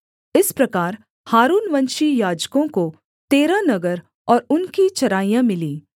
इस प्रकार हारूनवंशी याजकों को तेरह नगर और उनकी चराइयाँ मिलीं